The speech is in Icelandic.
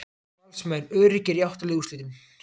Valsmenn öruggir í átta liða úrslitin